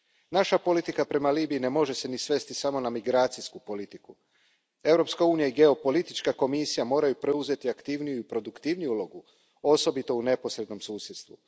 Naša politika prema Libiji ne može se ni svesti samo na migracijsku politiku. Europska unija i geopolitička Komisija moraju preuzeti aktivniju i produktivniju ulogu, osobito u neposrednom susjedstvu.